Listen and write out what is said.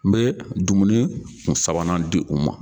N bɛ dumuni kun sabanan di u ma